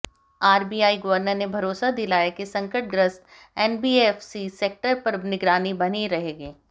RBI governor ने भरोसा दिलाया कि संकटग्रस्त एनबीएफसी सेक्टर पर निगरानी बनी रहेगी